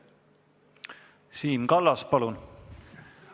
Siim Kallas, palun!